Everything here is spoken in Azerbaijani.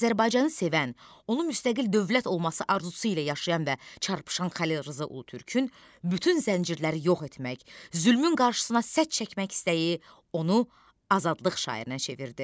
Azərbaycanı sevən, onun müstəqil dövlət olması arzusu ilə yaşayan və çarpışan Xəlil Rza Ulutürkün bütün zəncirləri yox etmək, zülmün qarşısına sədd çəkmək istəyi onu azadlıq şairinə çevirdi.